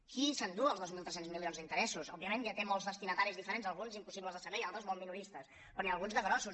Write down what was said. qui s’endú els dos mil tres cents milions d’interessos òbviament ja té molts destinataris diferents alguns impossibles de saber i altres molt minoristes però n’hi ha alguns de grossos